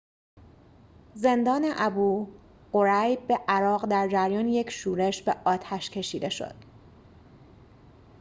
زندان ابوغریب عراق در جریان یک شورش به آتش کشیده شد